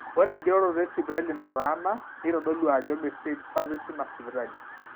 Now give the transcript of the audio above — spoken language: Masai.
ore eng'iroroto esipitali nataana neitodolu ajo meesidai service ina sipitali